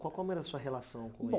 Co como era a sua relação Bom